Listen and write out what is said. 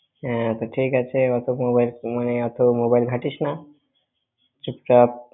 হ্যাঁ তা ঠিক আছে, ওত mobile মানে ওত mobile ঘাঁটিস না। চুপ থাক।